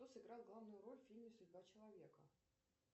кто сыграл главную роль в фильме судьба человека